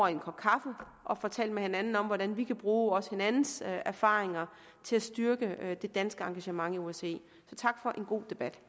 en kop kaffe og får talt med hinanden om hvordan vi også kan bruge hinandens erfaringer til at styrke det danske engagement i osce tak for en god debat